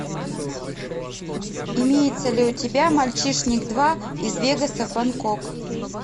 имеется ли у тебя мальчишник два из вегаса в бангкок